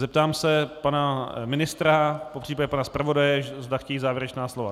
Zeptám se pana ministra, popřípadě pana zpravodaje, zda chtějí závěrečná slova.